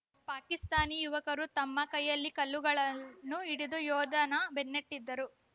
ಪಾಕಿಸ್ತಾನಿ ಯುವಕರೂ ತಮ್ಮ ಕೈಯಲ್ಲಿ ಕಲ್ಲುಗಳನ್ನು ಹಿಡಿದು ಯೋಧನ ಬೆನ್ನಟ್ಟಿದ್ದರು